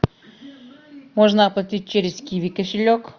можно оплатить через киви кошелек